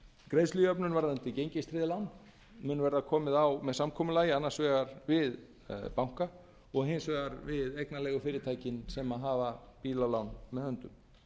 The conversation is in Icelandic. greiðslujöfnun varðandi gengistryggð lán mun verða komið á með samkomulagi annars vegar við banka og hins vegar við eignarleigufyrirtækin sem hafa bílalán með höndum